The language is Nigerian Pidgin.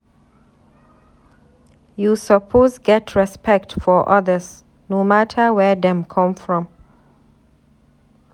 You suppose get respect for others no mata where dem come from.